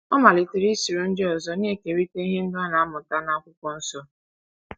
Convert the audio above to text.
Ọ malitere isoro ndị ọzọ na - ekerịta ihe ndị ọ na - amụta n'akwụkwọnsọ.